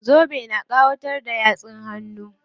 Zobe na ƙawatar da yatsun hannun.